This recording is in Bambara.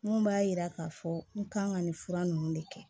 Mun b'a yira k'a fɔ n kan ka nin fura ninnu de kɛ